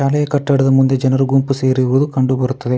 ಮನೆಯ ಕಟ್ಟಡದ ಮುಂದೆ ಜನರು ಗುಂಪು ಸೇರಿರುವುದು ಕಂಡು ಬರುತ್ತದೆ.